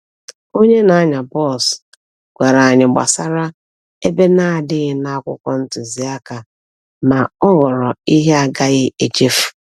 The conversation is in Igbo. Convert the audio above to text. Onye na-anya bọs gwara anyị gbasara ebe na-adịghị na akwụkwọ ntuziaka, ma ọ ghọrọ ihe a gaghị echefu.